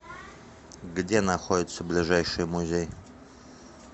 где находится ближайший музей